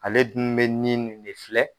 Ale dun bɛ nin nin de filɛ.